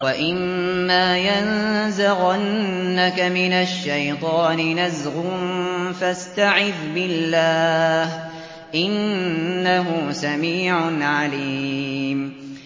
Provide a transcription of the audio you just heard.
وَإِمَّا يَنزَغَنَّكَ مِنَ الشَّيْطَانِ نَزْغٌ فَاسْتَعِذْ بِاللَّهِ ۚ إِنَّهُ سَمِيعٌ عَلِيمٌ